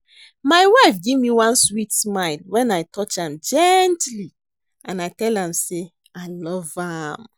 My wife give me one sweet smile wen I touch am gently and tell am say I love am